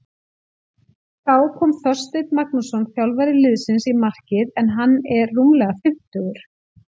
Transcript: Þá kom Þorsteinn Magnússon þjálfari liðsins í markið en hann er rúmlega fimmtugur.